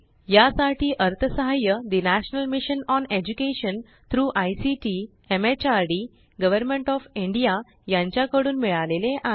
यासाठी अर्थसहाय्य ठे national mission on education through ICT MHRD government of India यांच्याकडून मिळाले आहे